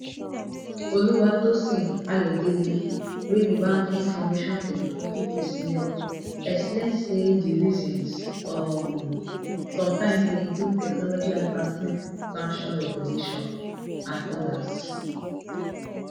oluwatosin ayodele wey be bank information technology personel explain say di reasons um sometimes dey include technology advancement expansion regulation and odas